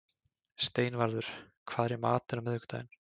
Steinvarður, hvað er í matinn á miðvikudaginn?